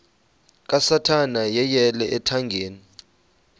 kasathana yeyele ethangeni